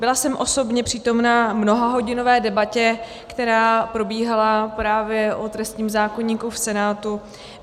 Byla jsem osobně přítomna mnohahodinové debatě, která probíhala právě o trestním zákoníku v Senátu.